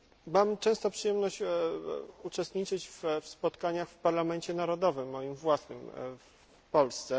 Mam często przyjemność uczestniczyć w spotkaniach w parlamencie narodowym, moim własnym, w Polsce.